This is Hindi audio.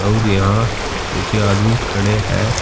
और यहां कुछ आदमी खड़े है।